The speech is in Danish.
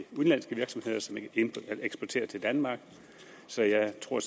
udenlandske virksomheder som eksporterer til danmark så jeg tror